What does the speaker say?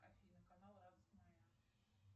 афина канал радость моя